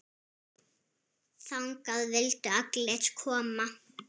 Þangað vildu allir koma.